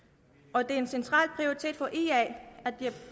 og det er en central prioritet for ia